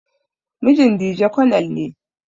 Mijin Dije konel ne.